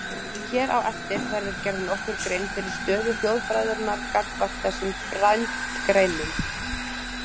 Hér á eftir verður gerð nokkur grein fyrir stöðu þjóðfræðinnar gagnvart þessum frændgreinum.